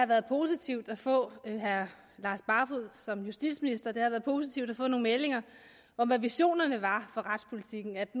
været positivt at få justitsministerens meldinger om hvad visionerne var for retspolitikken at